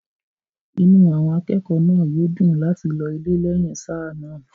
inú àwọn akẹ́kọ̀ọ́ náà yóò dùn láti lọ ilé lẹ́yìn sáà náà